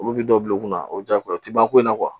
Olu bɛ dɔ bila u kunna o jagoya o ti ban ko in na